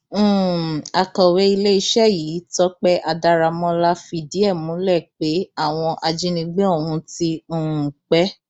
um akọwé iléeṣẹ yìí tọpẹ adáramọlá fìdí ẹ múlẹ pé àwọn ajínigbé ọhún ti um pẹ